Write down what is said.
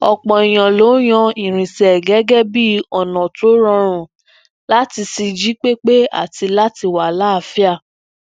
òpò èèyàn ló yan irinsẹ gẹgẹ bii ọna to rọrun lati ṣi jipepe ati lati wa laaafia